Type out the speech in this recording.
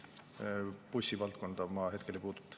Bussivaldkonda ma hetkel ei puuduta.